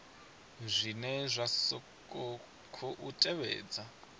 zwine zwa sa khou tevhedza